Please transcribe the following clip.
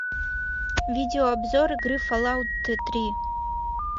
видеообзор игры фаллаут три